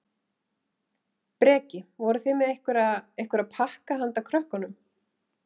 Breki: Voruð þið með einhverja, einhverja pakka handa krökkunum?